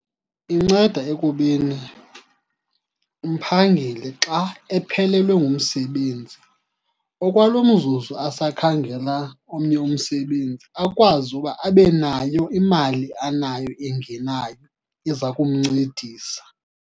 Inceda ekubeni umphangeli xa ephelelwe ngumsebenzi, okwalo mzuzu asakhangela omnye umsebenzi akwazi uba abe nayo imali anayo engenayo eza kumncedisa.